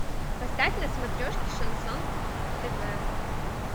поставь на смотрешке шансон тв